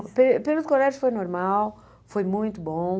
O período do colégio foi normal, foi muito bom.